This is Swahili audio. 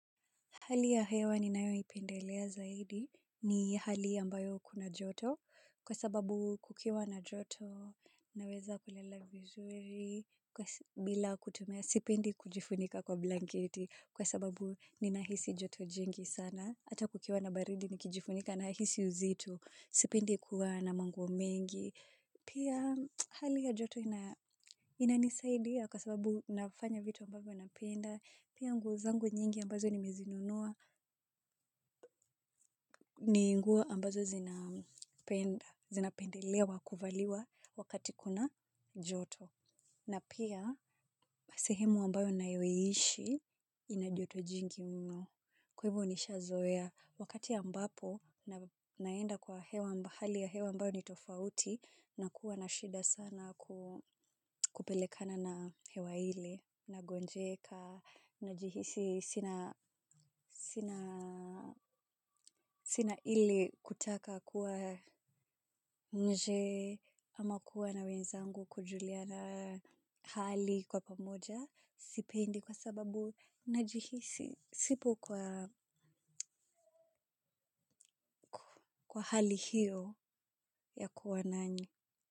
Hali ya hewa ninayoipendelea zaidi ni hali ambayo kuna joto kwa sababu kukiwa na joto naweza kulela vizuri bila kutumia sipindi kujifunika kwa blanketi kwa sababu ninahisi joto jingi sana. Hata kukiwa na baridi nikijifunika nahisi uzito, sipindi kuwa na manguo mengi. Pia hali ya joto na inanisaidia kwa sababu nafanya vitu ambayo napenda. Pia nguo zangu nyingi ambazo nimezinunua, ni nguo ambazo zinapendelea wakuvaliwa wakati kuna joto. Na pia, sehemu ambayo naiyoishi, inajoto jingi mno. Kwa hivyo nishazoea, wakati ambapo, naenda kwa hewa mahali ya hewa ambayo nitofauti, na kuwa na shida sana kupelekana na hewa hile, nagonjeka, najihisi sina sina ile kutaka kuwa nje ama kuwa na wenzangu kujuliana hali kwa pamoja, sipendi kwa sababu najihisi, sipo kwa hali hiyo ya kuwa nanyi.